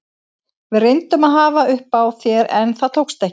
Við reyndum að hafa upp á þér en það tókst ekki.